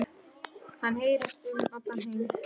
Hann heyrist um allan heim.